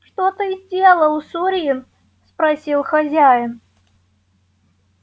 что ты сделал сурин спросил хозяин